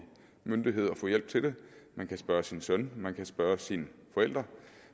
myndighed og få hjælp til det man kan spørge sin søn man kan spørge sine forældre